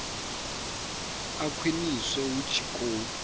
a khwiniswe hu tshi khou